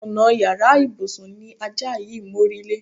Ònà yàrá ìbùsùn ni ajá yìí mórílé.